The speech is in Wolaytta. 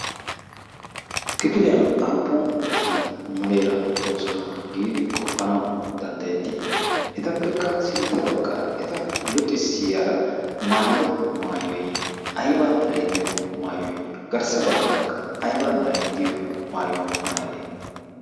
kifiliyan aafu naati muleera toosonaa' giidi qoppanau danddayettii etappekka sintta baggaara eta luxissiyaara maayido maayoy ayba miraydiyo maayooy garssa baggaarakka ayba mirayddiyo maayuwaa maayadee?